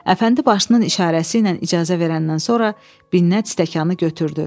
Əfəndi başının işarəsi ilə icazə verəndən sonra Binnət stəkanı götürdü.